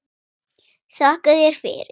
Þakka þér fyrir.